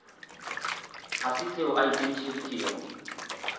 ga se seo a ikemišeditšego